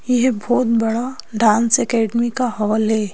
ये बहुत बड़ा डांस अकेडमी का हॉल है।